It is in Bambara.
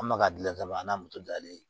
An bɛ ka gilan ka ban a n'a moto dalen